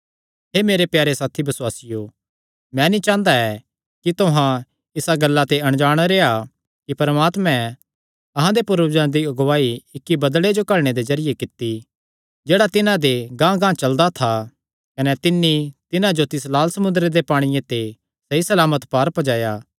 हे मेरे प्यारे साथी बसुआसियो मैं नीं चांह़दा ऐ कि तुहां इसा गल्ला ते अणजाण रेह्आ कि परमात्मे अहां दे पूर्वजां दी अगुआई इक्की बदल़े जो घल्लणे दे जरिये कित्ती जेह्ड़ा तिन्हां गांहगांह चलदा था कने तिन्नी तिन्हां जो तिस लाल समुंदरे दे पांणिये ते सहीसलामत पार पज्जाया